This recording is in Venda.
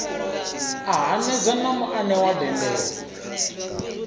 a hanedza na muanewa dendele